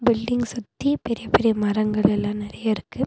பில்டிங்க சுத்தி பெரிய பெரிய மரங்களெல்லா நெறைய இருக்கு.